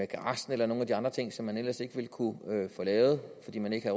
garagen eller nogle af de andre ting som man ellers ikke ville kunne få lavet fordi man ikke